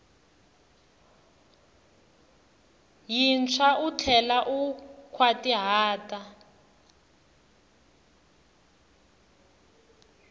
yintshwa u tlhela u nkhwatihata